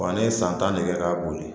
Wa ne ye san tan de kɛ ka boli